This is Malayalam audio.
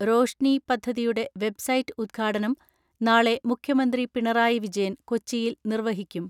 റോഷ്നി പദ്ധതിയുടെ വെബ്സൈറ്റ് ഉദ്ഘാടനം നാളെ മുഖ്യ മന്ത്രി പിണറായി വിജയൻ കൊച്ചിയിൽ നിർവഹിക്കും.